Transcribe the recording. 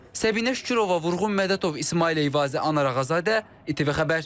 Səbinə Şükürova, Vurğun Mədətov, İsmail Eyvazlı, Anar Ağazadə, ITV Xəbər.